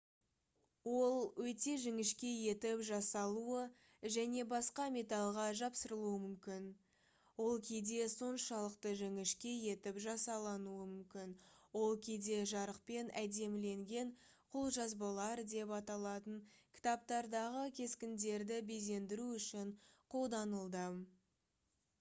ол өте жіңішке етіп жасалуы және басқа металға жапсырылуы мүмкін. ол кейде соншалықты жіңішке етіп жасалынуы мүмкін ол кейде «жарықпен әдеміленген қолжазбалар» деп аталатын кітаптардағы кескіндерді безендіру үшін қолданылды